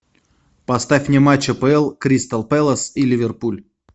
поставь мне матч апл кристал пэлас и ливерпуль